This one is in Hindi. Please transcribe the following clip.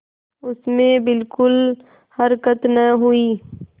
उसमें बिलकुल हरकत न हुई